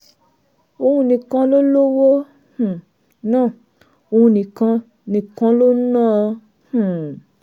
òun nìkan ló lówó um náà òun nìkan nìkan ló ń ná an um